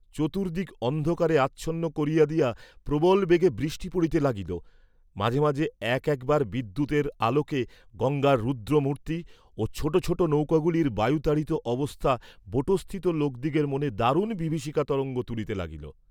চতুর্দিক অন্ধকারে আচ্ছন্ন করিয়া দিয়া প্রবল বেগে বৃষ্টি পড়িতে লাগিল; মাঝে মাঝে এক একবার বিদ্যুতের আলোকে গঙ্গার রুদ্র মূর্তি, ও ছোট ছোট নৌকাগুলির বায়ুতাড়িত অবস্থা বোটস্থিত লোকদিগের মনে দারুণ বিভীষিকা তরঙ্গ তুলিতে লাগিল।